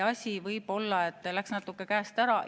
Asi läks ehk natuke käest ära.